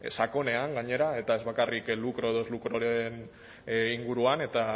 sakonean gainera eta ez bakarrik lukro edo ez lukroren inguruan eta